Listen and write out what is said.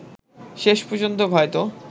শেষ পর্যন্ত হয়তো